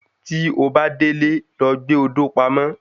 Tí obá délé, lọ gbé odò pamọ́